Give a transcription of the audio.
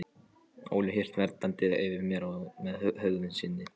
Óli hélt verndarhendi yfir mér með hegðun sinni.